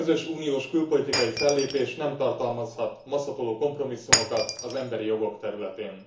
A közös uniós külpolitikai fellépés nem tartalmazhat maszatoló kompromisszumokat az emberi jogok területén.